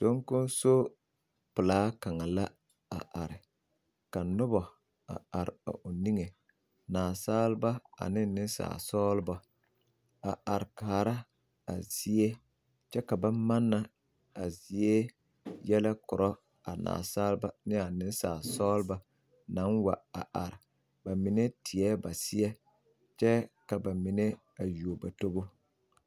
Soŋkoŋso pelaa kaŋa la a are ka noba a are a o niŋe Nansaaleba ane nensaalesɔglɔba a are kaa a zie kyɛ ka ba manna a zie yɛlɛ korɔ a Nansaaleba naŋ wa a are meŋ teɛ ba seɛ kyɛ ka ba mine yuo ba tobo.